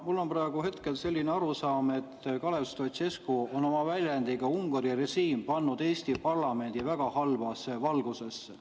Mul on praegu selline arusaam, et Kalev Stoicescu on oma väljendiga "Ungari režiim" pannud Eesti parlamendi väga halba valgusesse.